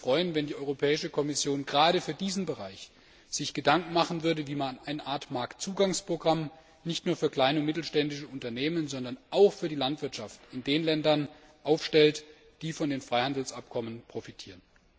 Ich würde mich freuen, wenn sich die Europäische Kommission gerade für diesen Bereich Gedanken machen würde, wie man eine Art Marktzugangsprogramm nicht nur für kleine und mittlere Unternehmen, sondern auch für die Landwirtschaft in den Ländern aufstellt, die von den Freihandelsabkommen profitieren.